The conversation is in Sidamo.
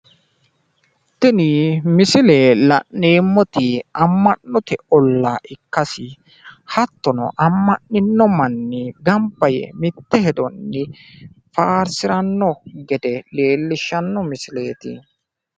Tini la'neemmoti ama'note ollati, tenne bassera Mannu kaaliiqa faarsiranni (guwisiranni) afammano basse ikkase xawissano misileeti.